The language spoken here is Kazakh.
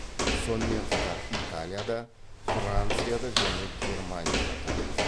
сонымен қатар италияда францияда және германияда тұрады